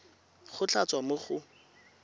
go tla tswa mo go